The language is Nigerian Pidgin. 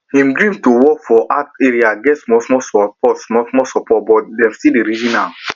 him dream to work for art area get smallsmall support smallsmall support but dem still dey reason am